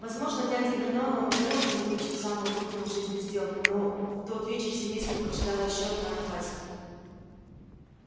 возможно дяде вернону удалось бы заключить самую крупную в жизни сделку но в тот вечер семейство поджидала ещё одна напасть